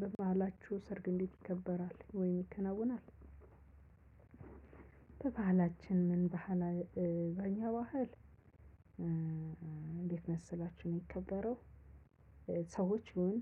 በበአላችሁ ሰርግ እንዴት ይከበራል ወይ ይከናወናል? በባህላችን ምን ባህላችን በኛ ባህል እንዴት መሰላችሁ ነው የከበረው። ሰዎች ይሁን